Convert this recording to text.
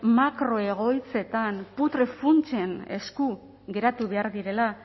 makroegoitzetan putre funtsen esku geratu behar direla